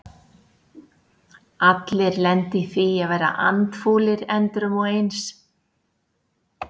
Allir lenda í því að vera andfúlir endrum og eins.